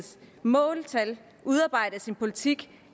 måltal udarbejdes i en politik